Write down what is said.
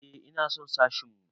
Eh ina son sashin mu.